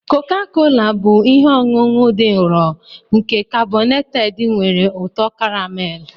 Koka-kola bụ ihe ọṅụṅụ dị nro nke karbonated nwere ụtọ karamelu.